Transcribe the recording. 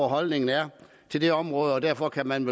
holdningen er til det område og derfor kan man